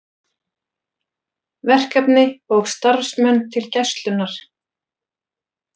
Verkefni og starfsmenn til Gæslunnar